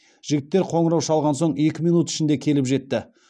жігіттер қоңырау шалған соң екі минут ішінде келіп жетті